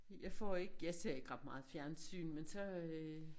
Jeg får ikke jeg ser ikke ret meget fjernsyn men så øh